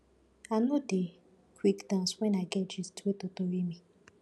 i no dey quick dance wen i get gist wey totori me